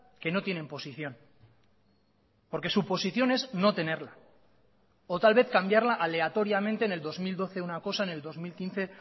que no tienen posición porque su posición es no tenerla o tal vez cambiarla aleatoriamente en el dos mil doce una cosa en el dos mil quince